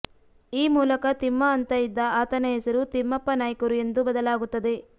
ಈ ಮೂಲಕ ತಿಮ್ಮ ಅಂತ ಇದ್ದ ಆತನ ಹೆಸರು ತಿಮ್ಮಪ್ಪ ನಾಯ್ಕರು ಎಂದು ಬದಲಾಗುತ್ತದೆ